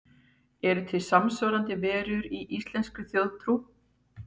Eru til samsvarandi verur í íslenskri þjóðtrú?